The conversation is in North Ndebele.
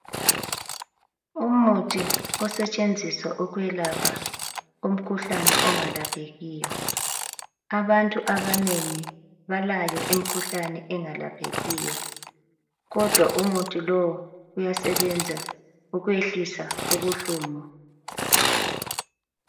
Umuthi osetshenziswa ukwelapha umkhuhlane ongalaphekiyo. Abantu abanengi balayo imkhuhlane engalaphekiyo. Kodwa umuthi lowu uyasebenza ukwehlisa ubuhlungu.